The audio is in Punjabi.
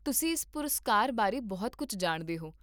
ਤੁਸੀਂ ਇਸ ਪੁਰਸਕਾਰ ਬਾਰੇ ਬਹੁਤ ਕੁੱਝ ਜਾਣਦੇ ਹੋ